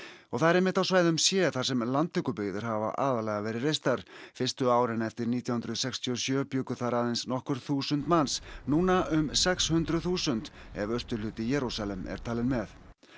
og það er einmitt á svæðum c sem landtökubyggðir hafa aðallega verið reistar fyrstu árin eftir nítján hundruð sextíu og sjö bjuggu þar aðeins nokkur þúsund manns núna um sex hundruð þúsund ef austurhluti Jerúsalem er talinn með